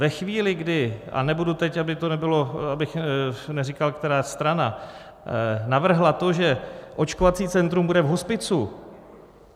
Ve chvíli, kdy - a nebudu teď, aby to nebylo... abych neříkal, která strana navrhla to, že očkovací centrum bude v hospicu.